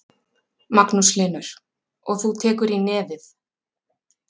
Magnús Hlynur: Og þú tekur í nefið?